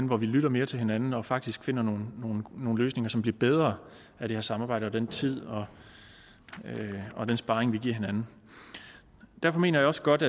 hvor vi lytter mere til hinanden og faktisk finder nogle løsninger som bliver bedre af det her samarbejde og den tid og den sparring vi giver hinanden derfor mener jeg også godt